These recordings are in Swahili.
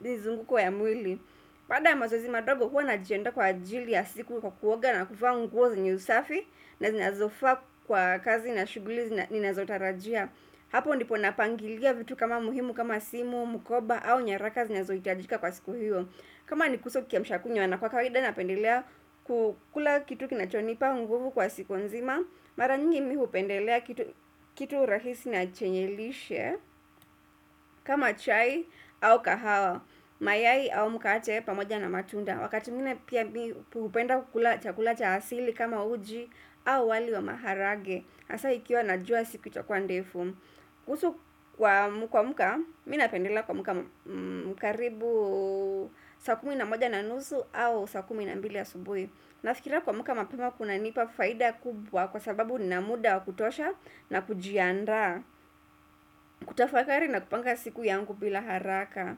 mizunguko ya mwili. Baada ya mazozi madogo huwa najiandaa kwa ajili ya siku kwa kuoga na kuvaa nguo zenye usafi na zinazofaa kwa kazi na shuguli ninazotarajia Hapo ndipo napangilia vitu kama muhimu kama simu, mukoba au nyaraka zinazohitajika kwa siku hiyo kama nikose kiamsha kinywa na kwa kawaida napendelea kukula kitu kinachonipa nguvu kwa siku nzima Mara nyingi mi hupendelea kitu rahisi na chenye lishe kama chai au kahawa Mayai au mkate pamoja na matunda Wakati mwingine pia mi hupenda kukula chakula cha hasili kama uji au wali wa maharage hasa ikiwa najua siku itakua ndefu kuhusu kwa kuamka mi napendela kuamka karibu saa kumi na moja na nusu au saa kumi na mbili ya asubuhi Nafikira kuamka mapema kunanipa faida kubwa Kwa sababu nina muda wa kutosha na kujiandaa kutafakari na kupanga siku yangu bila haraka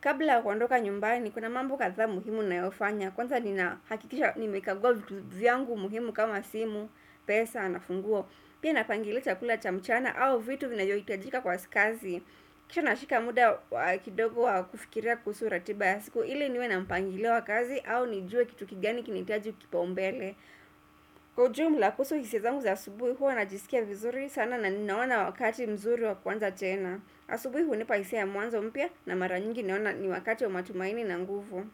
Kabla ya kuondoka nyumbani kuna mambo kadhaa muhimu nayofanya Kwanza nina hakikisha nimekagua vitu vyangu muhimu kama simu pesa na funguo Pia napangilia chakula cha mchana au vitu vinavyo hitajika kwa kazi Kisha nashika muda kidogo wa kufikira kuhusu ratiba ya siku ili niwe na mpangilio wa kazi au nijue kitu kigani kina hitaji kipaumbele Kwa ujumla kuhusu hisia zangu za asubuhi huwa najisikia vizuri sana na ninaona wakati mzuri wa kwanza tena asubuhi hunipa hisia ya mwanzo mpya na mara nyingi naona ni wakati wa matumaini na nguvu.